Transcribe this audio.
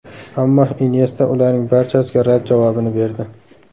Ammo Inyesta ularning barchasiga rad javobini berdi.